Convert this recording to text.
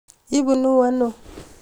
ibunuu ano?